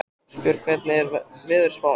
Ástbjörg, hvernig er veðurspáin?